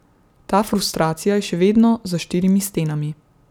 Ta frustracija je še vedno za štirimi stenami.